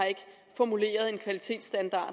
formuleret en kvalitetsstandard